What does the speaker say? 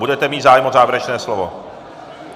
Budete mít zájem o závěrečné slovo?